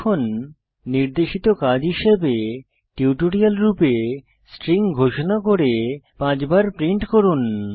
এখন নির্দেশিত কাজ হিসাবে টিউটোরিয়াল রূপে স্ট্রিং ঘোষণা করুন এবং 5 বার প্রিন্ট করুন